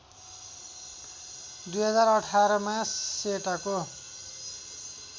२०१८ मा सेटको